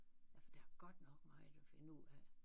Ja for der er godt nok meget at finde ud af